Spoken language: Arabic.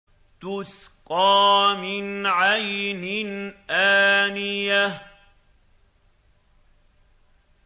تُسْقَىٰ مِنْ عَيْنٍ آنِيَةٍ